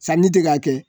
Sanni tɛ k'a kɛ